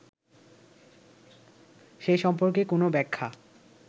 সে সম্পর্কে কোন ব্যাখ্যা